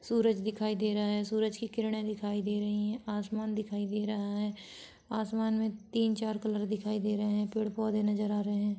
सूरज दिखाई दे रहा है सूरज की किरणे दिखाई दे रही है आसमान दिखाई दे रहा है आसमान में तीन चार कलर दिखाई दे रहे हैं पेड़ पौधे नजर आ रहे हैं।